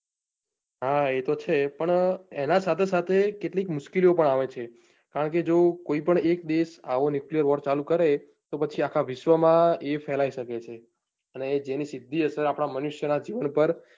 હા એ તો છે પણ એના સાથે સાથે કેટલીક મુશ્કેલીઓ પણ આવે છે કારણ કે જો કોઈ પણ એક દેશ આવો nuclear war ચાલુ કરે તો પછી આખા વિશ્વ માં એ ફેલાવી શકે છે અને જેની સીધી અસર આપણા મનુષ્ય ના જીવન ઉપર